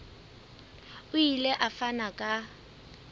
o ile a fana ka